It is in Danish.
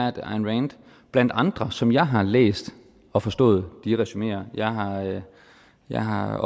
at ayn rand blandt andre som jeg har læst og forstået de resumeer jeg har jeg har